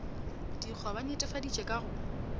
dikgwa ba netefaditše ka go